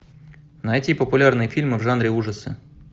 найти популярные фильмы в жанре ужасы